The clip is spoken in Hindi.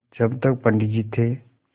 जब तक पंडित जी थे